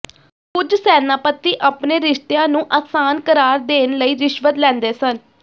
ਕੁਝ ਸੈਨਾਪਤੀ ਆਪਣੇ ਰਿਸ਼ਤਿਆਂ ਨੂੰ ਆਸਾਨ ਕਰਾਰ ਦੇਣ ਲਈ ਰਿਸ਼ਵਤ ਲੈਂਦੇ ਸਨ